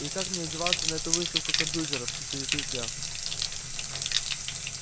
и как мне одеваться на эту выставку компьютеров интересуюсь я